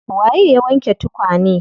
Waye ya wanke tukane?